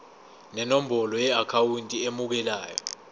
nenombolo yeakhawunti emukelayo